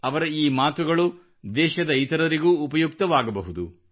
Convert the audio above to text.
ಅವರ ಈ ಮಾತುಗಳು ದೇಶದ ಇತರರಿಗೂ ಉಪಯುಕ್ತವಾಗಬಹುದು